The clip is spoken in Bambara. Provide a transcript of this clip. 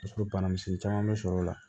O y'a sɔrɔ banamisɛnnin caman bɛ sɔrɔ o la